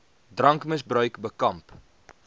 drankmis bruik bekamp